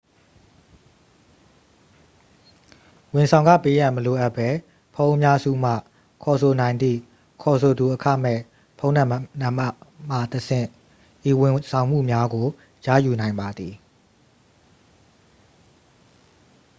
ဝန်ဆောင်ခပေးရန် မလိုအပ်ဘဲ ဖုန်းအများစုမှ ခေါ်ဆိုနိုင်သည့် ခေါ်ဆိုသူအခမဲ့ ဖုန်းနံပါတ်မှတဆင့် ဤဝန်ဆောင်မှုများကို ရယူနိုင်ပါသည်